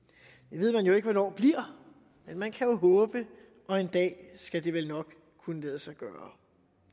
det ved man jo ikke hvornår bliver men man kan jo håbe og en dag skulle det vel nok kunne lade sig gøre